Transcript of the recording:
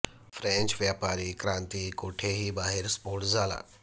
French व्यापारी क्रांती कोठेही बाहेर स्फोट झाला